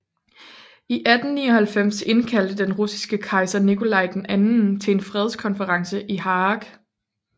I 1899 indkaldte den russiske kejser Nikolaj II til en fredskonference i Haag